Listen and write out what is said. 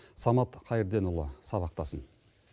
самат қайырденұлы сабақтасын